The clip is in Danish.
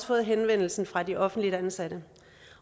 fået henvendelsen fra de offentligt ansatte